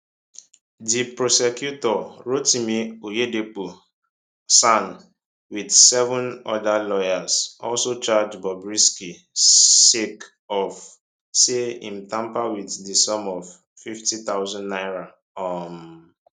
di prosecutor rotimi oyedepo san wit seven oda lawyers also charge bobrisky sake of say im tamper wit di sum of 50000 naira um